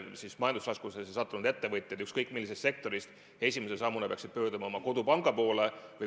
Nii et majandusraskustesse sattunud ettevõtjad ükskõik millisest sektorist esimese sammuna peaksid pöörduma oma kodupanga poole.